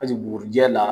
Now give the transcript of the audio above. Paseke bugurijɛ la